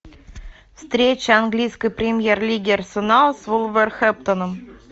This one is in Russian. встреча английской премьер лиги арсенал с вулверхэмптоном